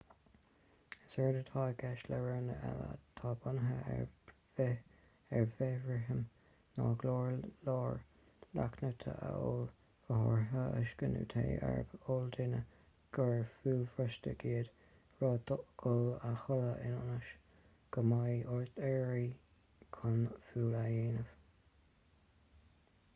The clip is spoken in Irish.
is éard atá i gceist le roghanna eile atá bunaithe ar bhithrithim ná go leor leachtanna a ól go háirithe uisce nó tae arb eol dúinn gur fualbhrostaigh iad roimh dhul a chodladh ionas go mbeidh ort éirí chun fual a dhéanamh